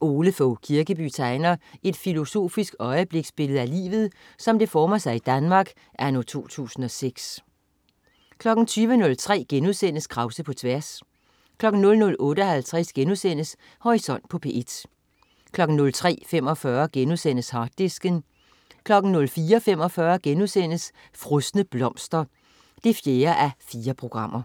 Ole Fogh Kirkeby tegner et filosofisk øjebliksbillede af livet, som det former sig i Danmark anno 2006 20.03 Krause på tværs* 00.58 Horisont på P1* 03.45 Harddisken* 04.45 Frosne blomster 4:4*